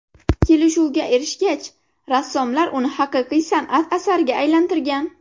Kelishuvga erishgach, rassomlar uni haqiqiy san’at asariga aylantirgan.